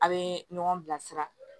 A' bee ɲɔgɔn bilasira